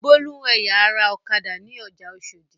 Bólú ń ẹ̀ya ara ọ̀kadà ní ọjà Oṣòdì.